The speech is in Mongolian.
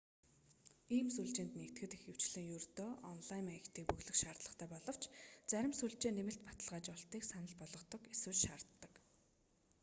ийм сүлжээнд нэгдэхэд ихэвчлэн ердөө онлайн маягтыг бөглөхийг шаарддаг боловч зарим сүлжээ нэмэлт баталгаажуулалтыг санал болгодог эсвэл шаарддаг